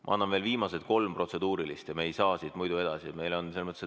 Ma annan veel viimased kolm protseduurilist, me ei saa siit muidu edasi.